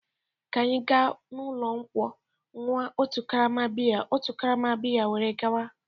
Ka anyị gaa n'ụlọ nkwụ ṅụọ otu karama bịya otu karama bịya were gawa.